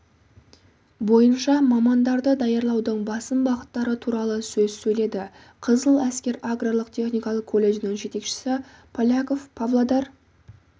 бойынша мамандарды даярлаудың басым бағыттары туралы сөз сөйледі қызыл әскер аграрлық-техникалық колледжінің жетекшісі поляков павлодар